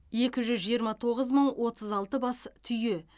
екі жүз жиырма тоғыз мың отыз алты бас түйе